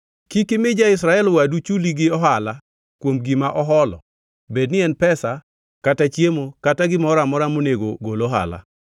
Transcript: Kik imi ja-Israel wadu chuli gi ohala kuom gima oholo bedni en pesa kata chiemo kata gimoro amora monego gol ohala.